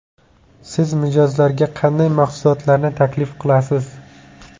Siz mijozlarga qanday mahsulotlarni taklif qilasiz?